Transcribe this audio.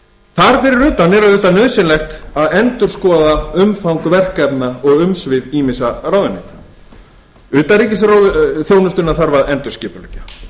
fyrir utan er auðvitað nauðsynlegt að endurskoða umfang verkefna og umsvif ýmissa ráðuneyta utanríkisþjónustuna þarf að endurskipuleggja